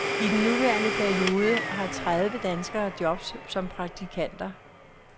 I den nuværende periode har tredive danskere jobs som praktikanter.